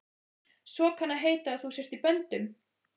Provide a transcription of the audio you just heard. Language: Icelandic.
Svo kann að heita að þú sért í böndum.